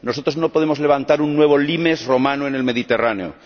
Nosotros no podemos levantar un nuevo limes romano en el Mediterráneo.